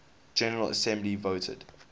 general assembly voted